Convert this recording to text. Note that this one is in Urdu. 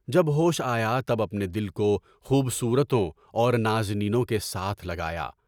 جب ہوش آیا تب اپنے دل کو خوب صورت اور نازنینوں کے ساتھ لگایا۔